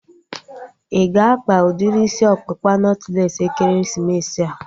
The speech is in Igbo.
Ị ga-akpa udiri isi ọkpụkpa nọtlees ekeresimesi a?